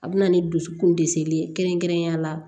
A bɛ na ni dusukun de seli ye kɛrɛnkɛrɛnnenya la